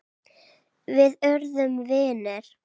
Við urðum vinir.